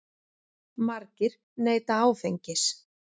Margir neyta áfengis.